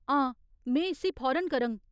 हां, में इस्सी फौरन करङ।